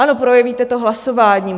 Ano, projevíte to hlasováním.